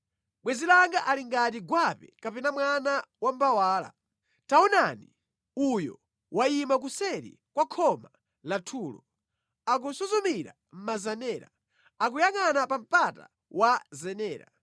Bwenzi langa ali ngati gwape kapena mwana wa mbawala. Taonani! Uyo wayima kuseri kwa khoma lathulo, akusuzumira mʼmazenera, akuyangʼana pa mpata wa zenera.